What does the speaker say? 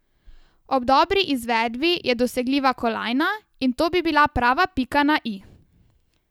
Ob dobri izvedbi je dosegljiva kolajna in to bi bila prava pika na i.